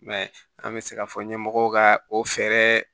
I m'a ye an bɛ se k'a fɔ ɲɛmɔgɔw ka o fɛɛrɛ